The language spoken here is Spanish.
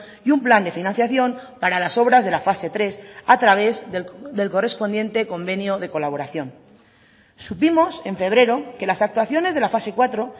y un plan de financiación para las obras de la fase tres a través del correspondiente convenio de colaboración supimos en febrero que las actuaciones de la fase cuatro